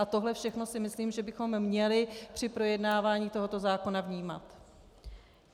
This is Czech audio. A tohle všechno si myslím, že bychom měli při projednávání tohoto zákona vnímat.